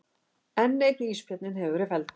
Enn einn ísbjörninn hefur verið felldur